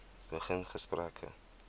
begin gesprekke